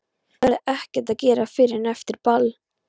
Það verður ekkert að gera fyrr en eftir ball.